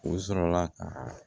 U sɔrɔla ka